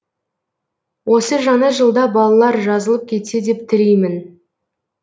осы жаңа жылда балалар жазылып кетсе деп тілеймін